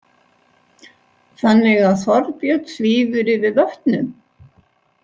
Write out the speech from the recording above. Þannig að Þorbjörn svífur yfir vötnum?